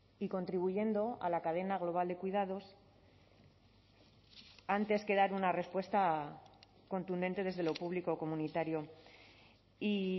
y contribuyendo a la cadena global de cuidados antes que dar una respuesta contundente desde lo público o comunitario y